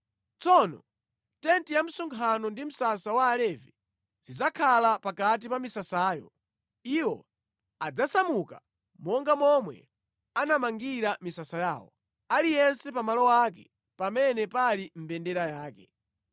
Tsono tenti ya msonkhano ndi msasa wa Alevi zidzakhala pakati pa misasayo. Iwo adzasamuka monga momwe anamangira misasa yawo, aliyense pa malo ake pamene pali mbendera yake.